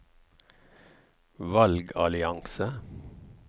valgallianse